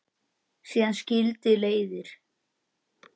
Síðan skildi leiðir.